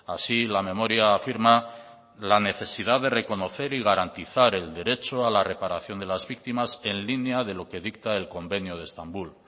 así la memoria afirma la necesidad de reconocer y garantizar el derecho a la reparación de las víctimas en línea de lo que dicta el convenio de estambul